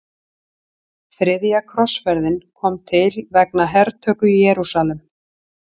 Þriðja krossferðin kom til vegna hertöku Jerúsalem.